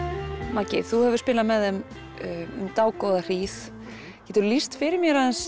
Maggi þú hefur spilað með þeim um dágóða hríð geturðu lýst fyrir mér aðeins